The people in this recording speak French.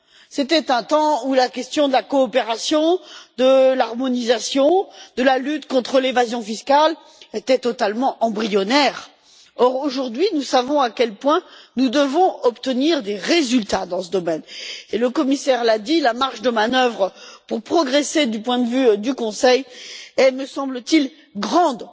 C'était un temps où la question de la coopération, de l'harmonisation, de la lutte contre l'évasion fiscale était totalement embryonnaire. Or, aujourd'hui, nous savons à quel point il est important pour nous d'obtenir des résultats dans ce domaine. Le commissaire l'a dit, la marge de manœuvre pour progresser du point de vue du Conseil est, me semble t il, grande.